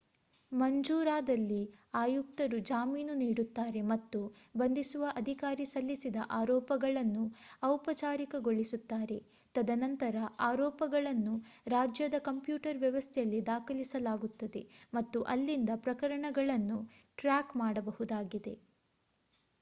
ಮಂಜೂರಾದಲ್ಲಿ ಆಯುಕ್ತರು ಜಾಮೀನು ನೀಡುತ್ತಾರೆ ಮತ್ತು ಬಂಧಿಸುವ ಅಧಿಕಾರಿ ಸಲ್ಲಿಸಿದ ಆರೋಪಗಳನ್ನು ಔಪಚಾರಿಕಗೊಳಿಸುತ್ತಾರೆ ತದನಂತರ ಆರೋಪಗಳನ್ನು ರಾಜ್ಯದ ಕಂಪ್ಯೂಟರ್ ವ್ಯವಸ್ಥೆಯಲ್ಲಿ ದಾಖಲಿಸಲಾಗುತ್ತದೆ ಮತ್ತು ಅಲ್ಲಿಂದ ಪ್ರಕರಣವನ್ನು ಟ್ರ್ಯಾಕ್ ಮಾಡಬಹುದಾಗಿದೆ